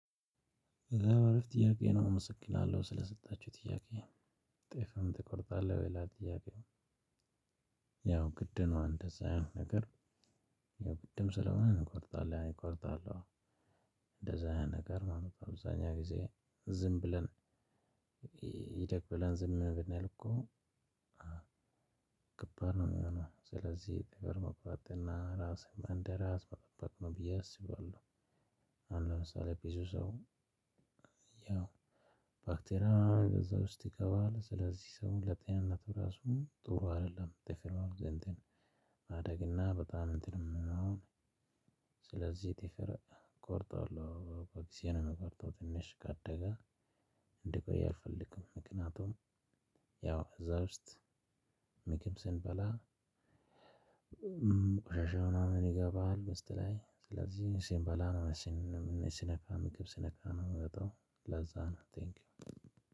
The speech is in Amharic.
በጣም አሪፍ ጥያቄ ነው አመሰግናለው ስለሰጣችሁኝ ጥያቄ። ጥፍርህን ትቆርጣለህ ወይ ይላል ጥያቄው? ያው ግድ ነው እንደዛ አይነት ነገር ያው ግድም ስለሆነ እቆርጣለሁ እቆርጣለሁ። እንደዛ አይነት ነገር ማለት አብዛኛው ጊዜ ዝም ብለን ይደግ ብለን ዝም ብንል እኮ። ከባድ ነው የሚሆነው ስለዚህ ጥፍር መቁረጥና ራሴን እንደራስ መጠበቅ ነው ብዬ አስባለሁ። አሁን ለምሳሌ ብዙ ሰው ያው ባክቴርያ እዛ ውስጥ ይገባል ስለዚህ ሰው ለጤንነቱ ራሱ ጥሩ አይደለም። ጥፍር ማደግ እና በጣም እንትንም። ስለዚህ ጥፍር እቆርጣለሁ በጊዜ ነው የምቆርጠው። ትንሽ ካደገ እንዲቆይ አልፈልግም። ምክንያቱም ያው እዛ ውስጥ ምግብ ስንበላ ቆሻሻ ምናምን ይገባል ውስጥ ላይ ስለዚህ ሲንባላ ነው ሲነካ ምግብ ሲነካ ነው የሚወጣው። ለዛ ነው ቴንኪው።